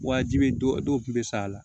Wajibi don dɔw kun be sa a la